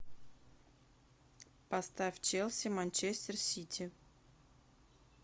поставь челси манчестер сити